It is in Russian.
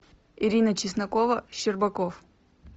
ирина чеснокова щербаков